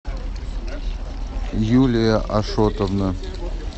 юлия ашотовна